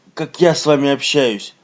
как я с вами общаюсь